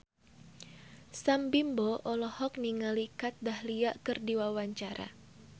Sam Bimbo olohok ningali Kat Dahlia keur diwawancara